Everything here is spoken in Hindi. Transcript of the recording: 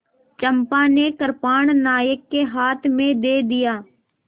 चंपा ने कृपाण नायक के हाथ में दे दिया